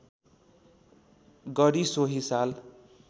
गरी सोही साल